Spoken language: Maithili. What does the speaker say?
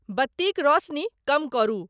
बत्तिक रौसनी कम करु ।